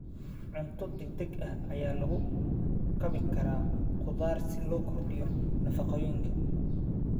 Cunto degdeg ah ayaa lagu kabi karaa khudaar si loo kordhiyo nafaqooyinka.